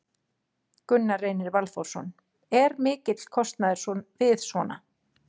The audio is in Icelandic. Gunnar Reynir Valþórsson: Er mikill kostnaður við svona?